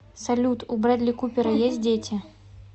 салют у брэдли купера есть дети